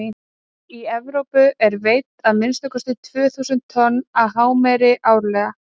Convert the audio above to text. í evrópu eru veidd að minnsta kosti tvö þúsund tonn af hámeri árlega